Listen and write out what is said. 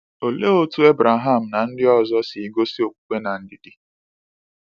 Olee otú Abraham na ndị ọzọ si gosi okwukwe na ndidi?